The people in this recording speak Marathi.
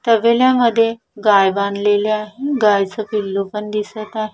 तबेल्यामध्ये गाय बांधलेल्या गायच पिल्लू पण दिसत आहे.